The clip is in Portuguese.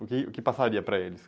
O que que passaria para eles?